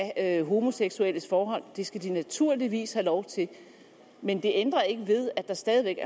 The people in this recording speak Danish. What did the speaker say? af homoseksuelle forhold det skal de naturligvis have lov til men det ændrer ikke ved at der stadig væk